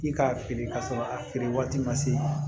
I k'a feere ka sɔrɔ a feere waati ma se